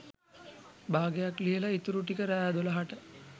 බාගයක් ලියලා ඉතුරු ටික රෑ දොලහට